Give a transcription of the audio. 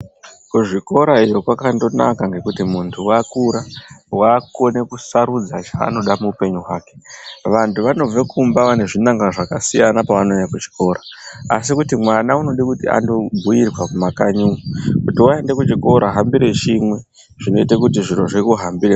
Kuzvikora iyo kwakandonaka ngekuti muntu wakura wakukone kusarudza chaanoda muupenyu wake vantu vanobve kumba vanezvinanga zvakasiyana pavanouya kuchikora asi kuti mwana anode kuti andobhiirwa mumakanyi umo kuti waende kuchikora hambire chimwe zvinoite kuti zviro zvikuhambire.